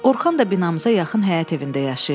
Orxan da binamıza yaxın həyət evində yaşayırdı.